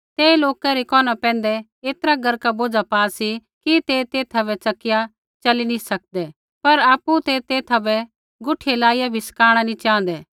ते लोकै री कोन्हा पैंधै ऐतरा गरका बोझ़ा पा सी कि ते तेथा बै च़किआ च़ली नी सकदै पर आपु ते तेथा बै गुठियै लाईया भी सकाणा नी च़ाँहदै